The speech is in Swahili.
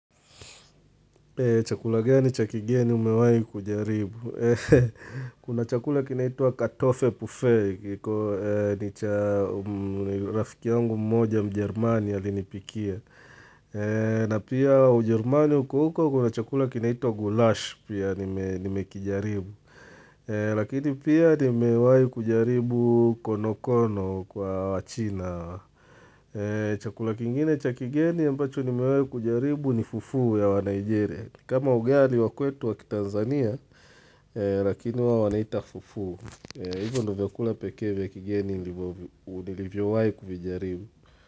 Chakula gani cha kigeni umewai kujaribu. Kuna chakula kinaitwa katofe bufei, ni rafiki yangu mmoja mjerumani alinipikia. Na pia ujerumani huku uko kuna chakula kinaituwa gulash pia nimekijaribu. Lakini pia nimewai kujaribu konokono kwa wachina. Chakula kingine cha kigeni ambacho nimewai kujaribu ni fufu ya wa nigeria. Kama ugali wa kwetu wa kitanzania, lakini wao wanaita fufu. Hivyo ndo vyakula pekee vysa kigeni nilivyowai kuvijaribu.